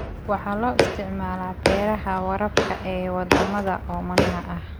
Waxa loo isticmaalaa beeraha waraabka ee wadamada oomanaha ah.